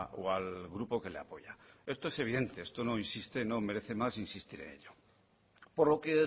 o al grupo que le apoya esto es evidente esto no insiste no merece más insistir en ello por lo que